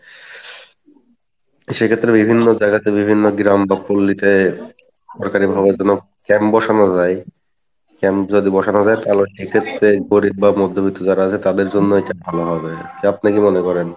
সেক্ষেত্রে বিভিন্ন জায়গা তে বিভিন্ন গ্রাম বা সরকারি ভাবে যেনো camp বসানো যাই, camp যদি বসানো যাই তাহলে এক্ষেত্রে গরিব বা মধ্যবৃত্ত যারা আছে তাদের জন্য এইটা ভালো হবে কি আপনি কি মনে করেন?